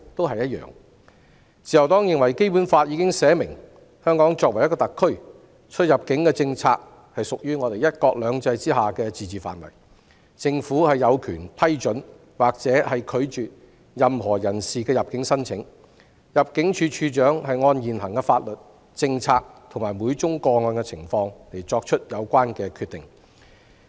自由黨認為，《基本法》已經表明，香港作為一個特區，出入境政策屬於"一國兩制"之下的自治範圍，政府有權批准或拒絕任何人士的入境申請，入境處處長會按現行法律、政策，以及每宗個案的情況而作出有關決定。